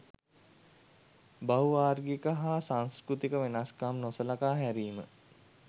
බහු වාර්ගික හා සංස්කෘතික වෙනස්කම් නොසලකා හැරීම.